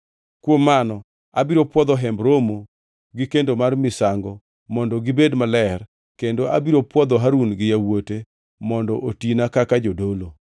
“Kuom mano abiro puodho Hemb Romo gi kendo mar misango mondo obed maler kendo abiro puodho Harun gi yawuote mondo otina kaka jodolo.